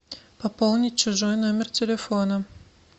пополнить чужой номер телефона